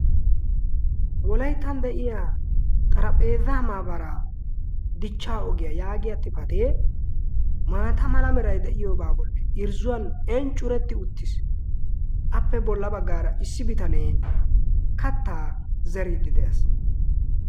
wolaittan de'iya xarahphetamabara dichcha ogiyaa yaagiya xifatee maata mala merai de'iyoobaa bolli irzzuwan inccuretti uttiis appe bolla baggaara issi bitanee kattaa zeriiddi de'ees.